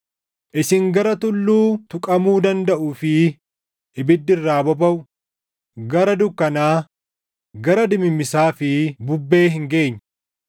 Isin gara tulluu tuqamuu dandaʼuu fi ibiddi irraa bobaʼu, gara dukkanaa, gara dimimmisaa fi bubbee hin geenye;